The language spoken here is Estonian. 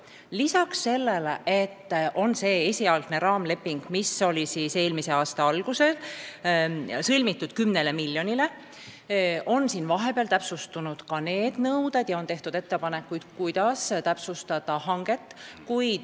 Lisaks sellele, et on esialgne raamleping 10 miljoni euro kohta, mis sai sõlmitud eelmise aasta alguses, on vahepeal nõudeid täpsustatud ja tehtud ettepanekuid, kuidas hanget täpsustada.